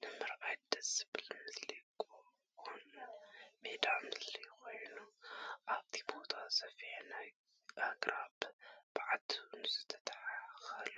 ንምርኣይ ደስ ዝብል ምስሊ ጎቦን ሜዳን ምስሊ ኮይኑ ኣብቲ ቦታ ሰፊሕ ናይ ኣግራብ በብዓይነቱ ዝተተከሎ